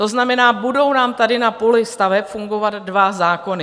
To znamená, budou nám tady na poli staveb fungovat dva zákony.